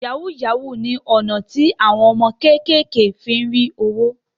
Yahoo yahoo ni ọ̀nà tí àwọn ọmọkùnrin kékèké fí ń rí owó